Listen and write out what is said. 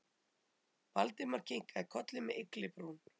Valdimar kinkaði kolli með ygglibrún.